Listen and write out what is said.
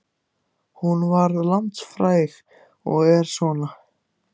Hún varð landsfræg og er svona